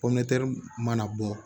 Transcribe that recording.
Pɔmpɛri mana bɔ